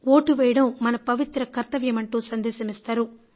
vote వేయడం మన పవిత్ర కర్తవ్యమంటూ సందేశమిస్తారు